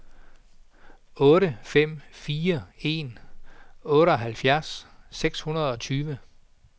otte fem fire en otteoghalvfjerds seks hundrede og tyve